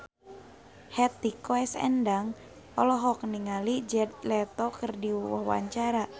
Hetty Koes Endang olohok ningali Jared Leto keur diwawancara